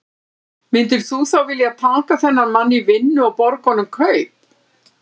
Myndir þú þá vilja taka þennan mann í vinnu og borga honum kaup?